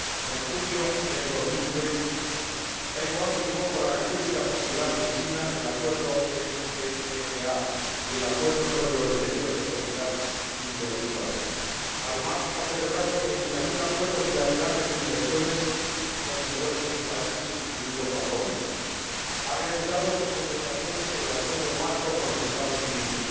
En junio de 2010, Taiwán firmó con la República Popular China el Acuerdo ECFA y el Acuerdo sobre los derechos de propiedad intelectual. Además, ha celebrado treinta y un acuerdos bilaterales de inversiones con numerosos países, incluido Japón, y ha reanudado sus conversaciones sobre el Acuerdo marco con los Estados Unidos.